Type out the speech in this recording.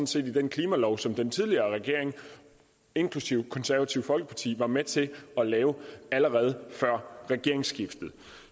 set i den klimalov som den tidligere regering inklusive de konservative var med til at lave allerede før regeringsskiftet